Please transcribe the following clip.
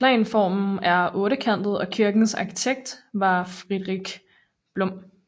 Planformen er ottekantet og kirkens arkitekt var Fredrik Blom